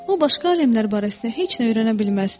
O başqa aləmlər barəsində heç nə öyrənə bilməzdi.